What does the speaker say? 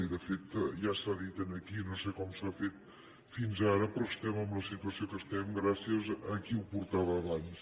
i de fet ja s’ha dit aquí no sé com s’ha fet fins ara però estem en la situació que estem gràcies a qui ho portava abans